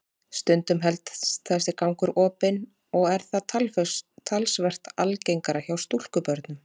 Stundum helst þessi gangur opinn og er það talsvert algengara hjá stúlkubörnum.